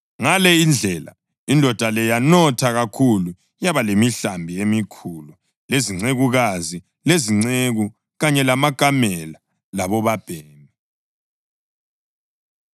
Ngale indlela indoda le yanotha kakhulu yaba lemihlambi emikhulu, lezincekukazi, lezinceku kanye lamakamela labobabhemi.